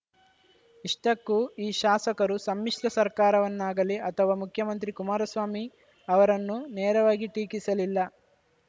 ಇಷ್ಟಕ್ಕೂ ಈ ಶಾಸಕರು ಸಮ್ಮಿಶ್ರ ಸರ್ಕಾರವನ್ನಾಗಲಿ ಅಥವಾ ಮುಖ್ಯಮಂತ್ರಿ ಕುಮಾರಸ್ವಾಮಿ ಅವರನ್ನು ನೇರವಾಗಿ ಟೀಕಿಸಲಿಲ್ಲ